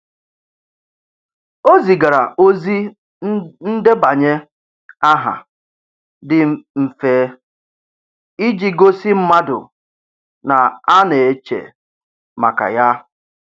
O zigara ozi ndebanye aha dị mfe iji gosi mmadụ na a na-eche maka ya.